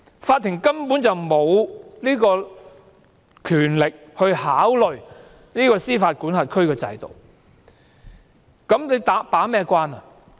法庭根本沒有權力考慮司法管轄區的制度，又如何能夠把關呢？